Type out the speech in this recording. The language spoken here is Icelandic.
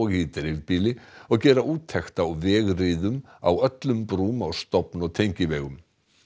í dreifbýli og gera úttekt á vegriðum á öllum brúm á stofn og tengivegum